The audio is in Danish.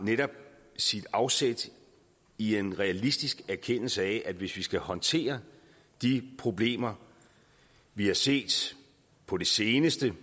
sit afsæt i en realistisk erkendelse af at hvis vi skal håndtere de problemer vi har set på det seneste